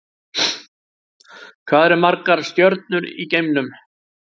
Hvað eru margar stjörnur í geimnum?